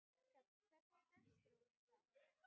Hrafn, hvernig er dagskráin í dag?